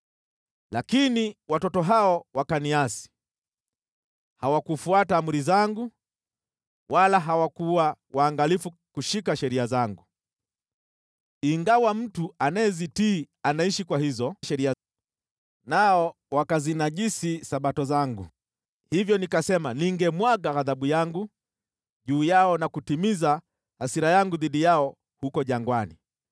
“ ‘Lakini watoto hao wakaniasi: Hawakufuata amri zangu, wala hawakuwa waangalifu kushika sheria zangu, ingawa mtu anayezitii anaishi kwa hizo sheria, nao wakazinajisi Sabato zangu. Hivyo nikasema ningemwaga ghadhabu yangu juu yao na kutimiza hasira yangu dhidi yao huko jangwani.